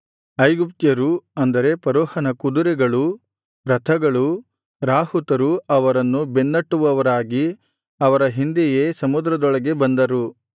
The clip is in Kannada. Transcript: ಐಗುಪ್ತ್ಯರೂ ಅಂದರೆ ಫರೋಹನ ಕುದುರೆಗಳೂ ರಥಗಳೂ ರಾಹುತರೂ ಅವರನ್ನು ಬೆನ್ನಟ್ಟುವವರಾಗಿ ಅವರ ಹಿಂದೆಯೇ ಸಮುದ್ರದೊಳಗೆ ಬಂದರು